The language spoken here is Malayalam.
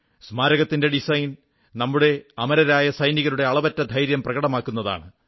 സ്മാരകത്തിന്റെ ഡിസൈൻ നമ്മുടെ അമരരായ സൈനികരുടെ അളവറ്റ ധൈര്യം പ്രകടമാക്കുന്നതാണ്